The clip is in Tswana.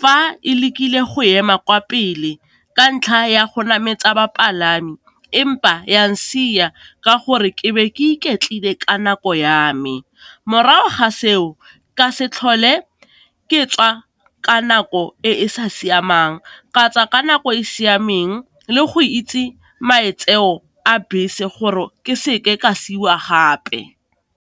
fa e le kile go ema kwa pele ka ntlha ya go nametsa bapalami, empa yang siwa ka gore ke be ke iketlile ka nako ya me, morago ga seo ka se tlhole ke tswa ka nako e e sa siamang, katswa ka nako e e siameng le go itse maitseo a bese gore ke seke ka siwa gape.